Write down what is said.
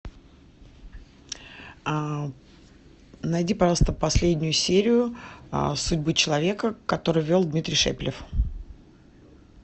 найди пожалуйста последнюю серию судьбы человека которую вел дмитрий шепелев